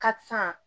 Ka san